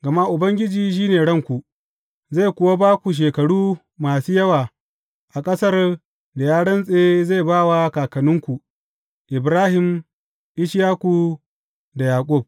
Gama Ubangiji shi ranku, zai kuwa ba ku shekaru masu yawa a ƙasar da ya rantse zai ba wa kakanninku, Ibrahim, Ishaku da Yaƙub.